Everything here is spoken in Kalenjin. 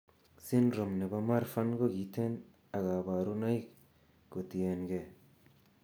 Syndrome nebo marfan kokiten ak kaborunoik kotiengee